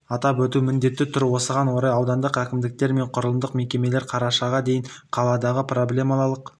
атап өту міндеті тұр осыған орай аудандық әкімдіктер мен құрылымдық мекемелер қарашаға дейін қаладағы проблемалық